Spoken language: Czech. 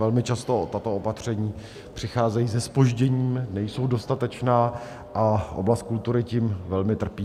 Velmi často tato opatření přicházejí se zpožděním, nejsou dostatečná a oblast kultury tím velmi trpí.